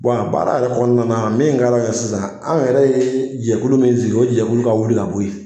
baara yɛrɛ kɔnɔna min ka d'an ye sisan , an yɛrɛ ye jɛkulu min sigi, o jɛkulu ka wili ka bɔ yen.